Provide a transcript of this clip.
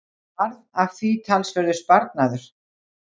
Varð að því talsverður sparnaður.